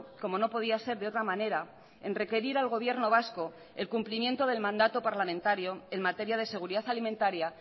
como no podía ser de otra manera en requerir al gobierno vasco el cumplimiento del mandato parlamentario en materia de seguridad alimentaria